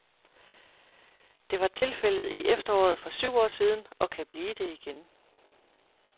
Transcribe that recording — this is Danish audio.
Det var tilfældet i efteråret for syv år siden, og kan blive det igen.